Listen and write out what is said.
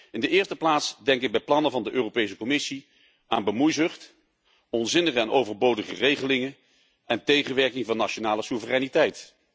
In de eerste plaats denk ik bij plannen van de Europese Commissie aan bemoeizucht, onzinnige en overbodige regelingen en tegenwerking van nationale soevereiniteit.